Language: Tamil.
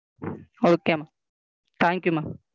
Okay ma'am thank you ma'am.